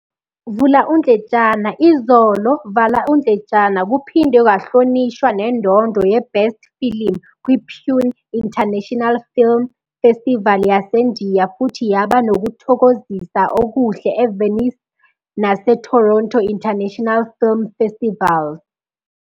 "Izolo" kuphinde kwahlonishwa nendondo yeBest Film kwiPune International Film Festival yaseNdiya futhi yaba nokuthokozisa okuhle eVenice naseToronto International Film Festivals.